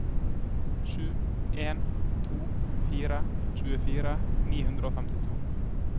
sju en to fire tjuefire ni hundre og femtito